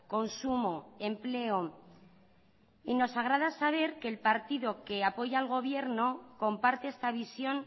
consumo empleo y nos agrada saber que el partido que apoya al gobierno comparte esta visión